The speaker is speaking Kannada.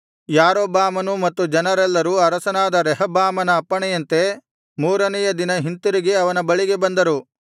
ಯಾರೊಬ್ಬಾಮನೂ ಮತ್ತು ಜನರೆಲ್ಲರೂ ಅರಸನಾದ ರೆಹಬ್ಬಾಮನ ಅಪ್ಪಣೆಯಂತೆ ಮೂರನೆಯ ದಿನ ಹಿಂತಿರುಗಿ ಅವನ ಬಳಿಗೆ ಬಂದರು